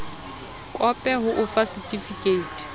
kope ho o fa setifikeiti